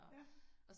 Ja